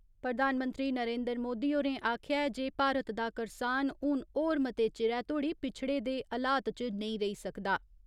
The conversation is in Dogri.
प्रधानमंत्री नरेन्द्र मोदी होरें आखेआ ऐ जे भारत दा करसान हून होर मते चिरै तोह्ड़ी पिच्छड़े दे हलात च नेईं रेई सकदा।